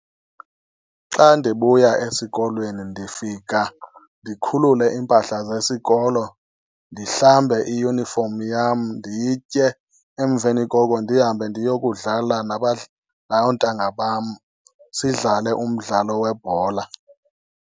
Xa ndibuya esikolweni ndifika ndikhulule iimpahla zesikolo ndihlambe iyunifomi yam nditye, emveni koko ndihambe ndiyokudlala noontanga bam, sidlale umdlalo webhola.